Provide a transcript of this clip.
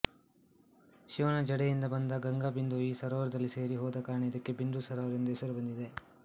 ಶಿವನ ಜಡೆಯಿಂದ ಬಂದ ಗಂಗಾಬಿಂದುವು ಈ ಸರೋವರದಲ್ಲಿ ಸೇರಿ ಹೋದ ಕಾರಣ ಇದಕ್ಕೆ ಬಿಂದು ಸರೋವರ ಎಂಬ ಹೆಸರು ಬಂದಿದೆ